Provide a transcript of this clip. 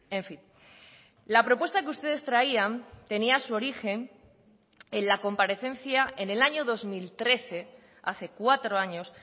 en fin la propuesta que ustedes traían tenía su origen en la comparecencia en el año dos mil trece hace cuatro años